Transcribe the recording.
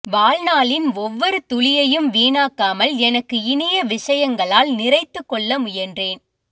வாழ்நாளின் ஒவ்வொரு துளியையும் வீணாக்காமல் எனக்கு இனிய விஷயங்களால் நிறைத்துக்கொள்ள முயன்றேன்